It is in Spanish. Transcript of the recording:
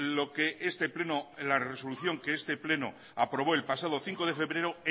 lo que este pleno en la resolución que este pleno aprobó el pasado cinco de febrero